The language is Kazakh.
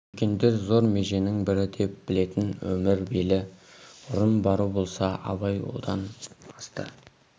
үлкендер зор меженің бірі деп білетін өмір белі ұрын бару болса абай содан асты